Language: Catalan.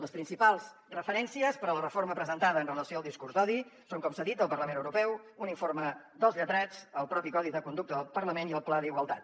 les principals referències per a la reforma presentada amb relació al discurs d’odi són com s’ha dit el parlament europeu un informe dels lletrats el propi codi de conducta del parlament i el pla d’igualtat